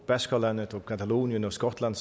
baskerlandet catalonien og skotland